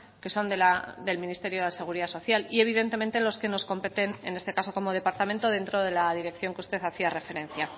que son del ministerio de la seguridad social y evidentemente los que nos competen en este caso como departamento dentro de la dirección que usted hacía referencia